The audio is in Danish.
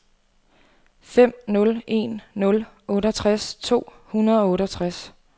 fem nul en nul otteogtres to hundrede og otteogtres